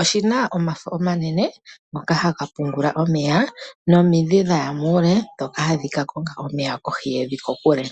oshina omafo omanene ngoka haga pumbwa omeya, nomidhi dhaya muule dhoka hadhi ka konga omeya kohi yevi kokule.